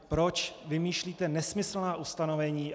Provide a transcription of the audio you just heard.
Proč vymýšlíte nesmyslná ustanovení?